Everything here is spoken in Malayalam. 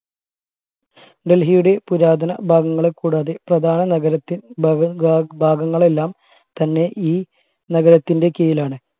ഡൽഹിയുടെ പുരാതന ഭാഗങ്ങളിൽ കൂടാതെ പ്രധാന നഗരത്തിൽ ഭാഗങ്ങളെല്ലാം തന്നെ ഈ നഗരത്തിന്റെ കീഴിലാണ്